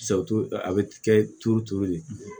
a bɛ kɛ turu turu de